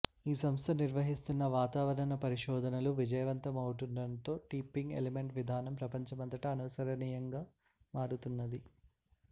ఈ సంస్థ నిర్వహిస్తున్న వాతావరణ పరిశోధనలు విజయవంతమవుతుండటంతో టిప్పింగ్ ఎలిమెంట్ విధానం ప్రపంచమంతటా అనుసరణీయంగా మారుతున్నది